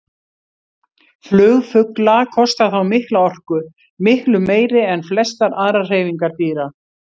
Flug fugla kostar þá mikla orku, miklu meiri en flestar aðrar hreyfingar dýra.